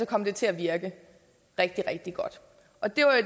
kom til at virke rigtig rigtig godt